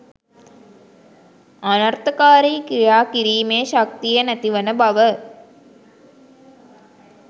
අනර්ථකාරි ක්‍රියා කිරීමේ ශක්තිය නැති වන බව,